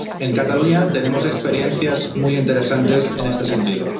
En Cataluña tenemos experiencias muy interesantes en este sentido.